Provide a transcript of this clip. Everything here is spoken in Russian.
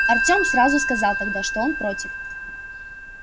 артём сразу сказал тогда что он против